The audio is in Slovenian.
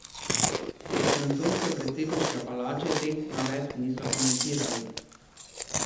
Iz francoske predsedniške palače teh navedb niso komentirali.